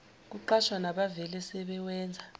kuqashwa nabavele sebewenza